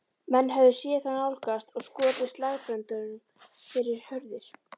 Menn höfðu séð þá nálgast og skotið slagbröndum fyrir hurðir.